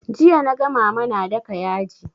Jiya naga mama na daka yaji